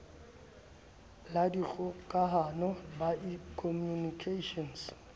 la dikgokahano ba in communications